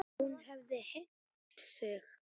Hún hefði hengt sig.